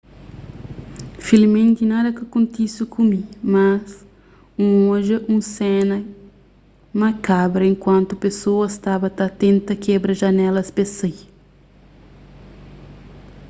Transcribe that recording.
filiimenti nada ka kontise ku mi mas n odja un sena makabra enkuantu pesoas staba ta tenta kebra janelas pes sai